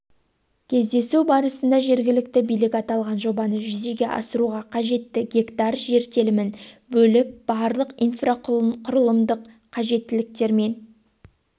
кездесу барысында жергілікті билік аталған жобаны жүзеге асыруға қажетті гектар жер телімін бөліп барлық инфрақұрылымдық қажеттіліктермен